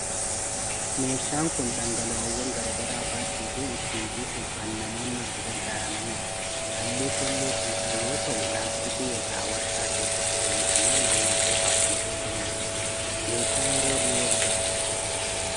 Meeshaan kun dhangala'oowwan garaa garaa baachuu fi ittiin buusuuf kan namoonni itti gargaaramanidha. Halluu keelloo kan qabuu yoo ta'u, laastikii irraa waarshaa keessatti oomishamee maamiltootaaf kan qoodamudha. Meeshaa yeroo dhiyoo dhufedha.